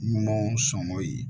Ɲumanw sɔngɔ ye